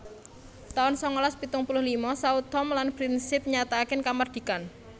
taun sangalas pitung puluh lima Sao Tome lan Principe nyatakaken kamardikan